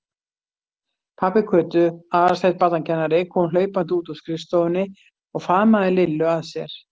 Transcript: Pabbi Kötu, Aðalsteinn barnakennari, kom hlaupandi út úr skrifstofunni og faðmaði Lillu að sér.